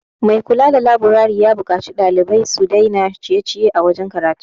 Mai kula da laburari ya buƙaci ɗalibai su dai na ciye -ciye a wajen karatu